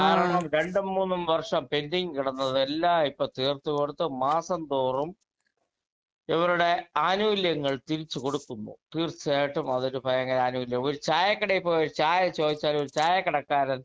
speaker 2 കാരണം രണ്ടും മൂന്നും വർഷം പെൻഡിങ് കിടന്നതെല്ലാം ഇപ്പൊ തീർത്തുകൊടുത്തു മാസം തോറും ഇവരുടെ ആനുകൂല്യങ്ങൾ തിരിച്ചുകൊടുക്കുന്നു തീർച്ചയായിട്ടും അതൊരു ഭയങ്കര ആനുകൂല്യമാണ് ഒരു ചായക്കടയിൽ പോയി ഒരു ചായ ചോദിച്ചാൽ ഒരു ചായക്കടക്കാരൻ